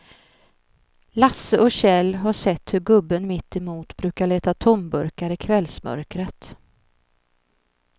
Lasse och Kjell har sett hur gubben mittemot brukar leta tomburkar i kvällsmörkret.